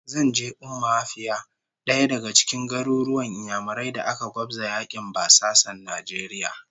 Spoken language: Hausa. Zan je Umma Afia, daya daga cikin garuruwan Inyamurai da aka gwabza yakin basasan Najeriya